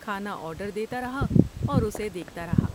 کھانا آرڈر دیتا رہا اور اسے دیکھتا رہا۔